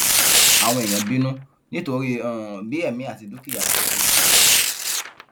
àwọn èèyàn bínú nítorí um bí èmi àti dúkìá ṣe ṣòfò